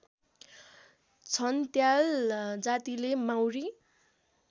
छन्त्याल जातिले माउरी